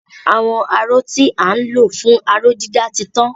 Àwọn aró tí à ń lò fún aró-dídà ti tán.